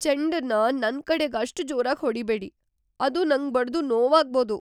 ಚೆಂಡನ್ನ ನನ್ ಕಡೆಗೆ ಅಷ್ಟ್ ಜೋರಾಗ್ ಹೊಡಿಬೇಡಿ. ಅದು ನಂಗ್ ಬಡ್ದು ನೋವಾಗ್ಬೋದು.